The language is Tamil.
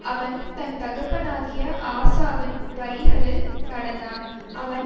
அவன் தன் தகப்பனாகிய ஆசாவின் வழிகளில் நடந்தான் அவன்